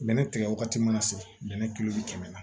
Bɛnɛ tigɛ wagati mana se bɛnɛ kilo bi kɛmɛ la